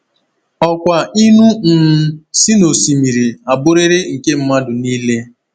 Ọkwa ịṅụ um si n’osimiri a bụrịrị nke mmadụ niile.